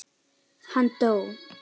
Hann dó.